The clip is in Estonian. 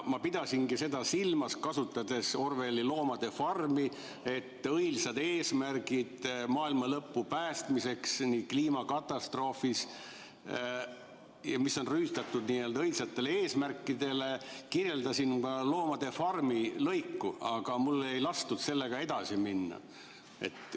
" Ma pidasingi seda silmas, kasutades Orwelli "Loomade farmi", et õilsad eesmärgid maailma päästmiseks kliimakatastroofis on rüütatud n‑ö õilsate eesmärkidega, kirjeldasin ka "Loomade farmi" lõiku, aga mul ei lastud sellega edasi minna.